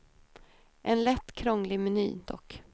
En lätt krånglig meny, dock.